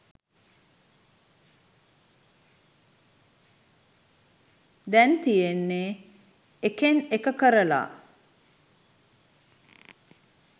දැන් තියෙන්නේ එකෙන් එක කරලා